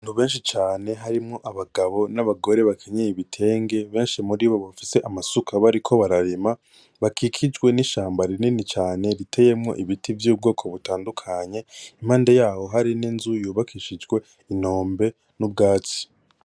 Abantu benshi cane harimwo abagabo n,abagore benshi muri bo bafise amasuka bariko bararima bakikijwe nishamba rinini cane riteyemwo ibiti vyubwoko butandukanye impande yaho hari n,inzu yubakishijwe inombe n,ubwatsi.